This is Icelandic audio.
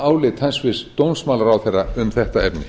álit hæstvirtur dómsmálaráðherra um þetta efni